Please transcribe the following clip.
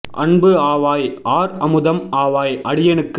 அன்புஆவாய் ஆர்அமுதம் ஆவாய் அடியேனுக்கு